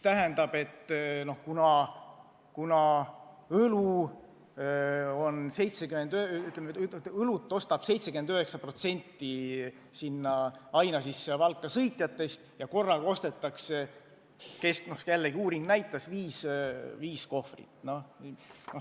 Ja õlut ostab 79% Ainažisse ja Valka sõitjatest ja korraga ostetakse – jällegi uuring näitas – keskmiselt viis kohvrit.